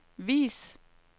vis